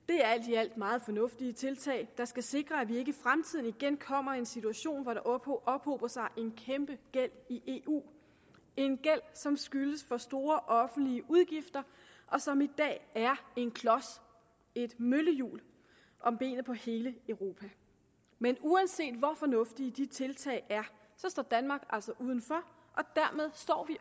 i alt meget fornuftige tiltag der skal sikre at vi ikke i fremtiden igen kommer i en situation hvor der ophober ophober sig en kæmpegæld i eu en gæld som skyldes for store offentlige udgifter og som i dag er en klods et møllehjul om benet på hele europa men uanset hvor fornuftige de tiltag er står danmark altså udenfor